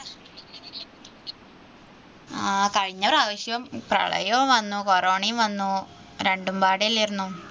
ആ കഴിഞ്ഞപ്രാവശ്യം പ്രളയവും വന്നു corona യും വന്നു രണ്ടും പാടില്ലായിരുന്നു.